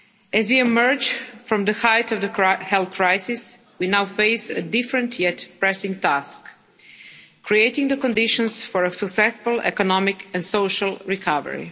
As we emerge from the height of the health crisis, we now face a different, yet pressing, task creating the conditions for a successful economic and social recovery.